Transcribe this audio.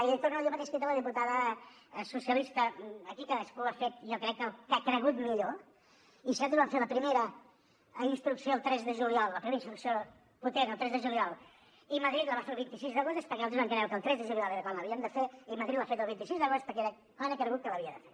i li torno a dir el mateix que he dit a la diputada socialista aquí cadascú ha fet jo crec que el que ha cregut millor i si nosaltres vam fer la primera instrucció el tres de juliol la primera instrucció potent el tres de juliol i madrid la va fer el vint sis d’agost és perquè nosaltres vam creure que el tres de juliol era quan l’havíem de fer i madrid l’ha fet el vint sis d’agost perquè era quan ha cregut que l’havia de fer